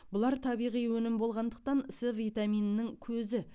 бұлар табиғи өнім болғандықтан с витаминінің көзі